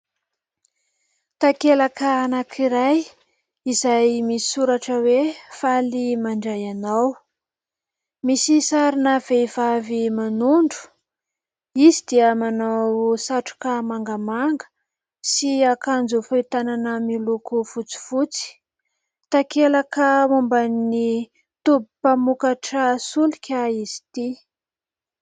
Takelaka anankiray izay misy soratra hoe : "faly mandray anao", misy sarina vehivavy manondro, izy dia manao satroka mangamanga sy akanjo fohy tanana fotsifotsy. Takelaka momban'ny toby mpamokatra solika izy ity.